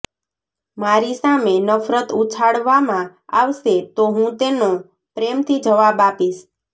મારી સામે નફરત ઉછાળવામાં આવશે તો હું તેનો પ્રેમથી જવાબ આપીશ